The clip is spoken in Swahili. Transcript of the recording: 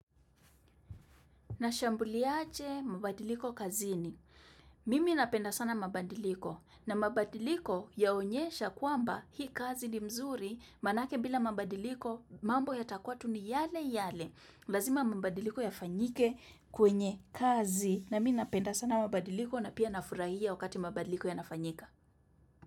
Nashambuliaje mabadiliko kazini? Mimi napenda sana mabadiliko. Na mabadiliko yaonyesha kwamba hii kazi ni mzuri. Maanake bila mabadiliko mambo yatakuwa tu ni yale yale. Lazima mabadiliko yafanyike kwenye kazi. Na mimi napenda sana mabadiliko na pia nafurahia wakati mabadiliko yanafanyika.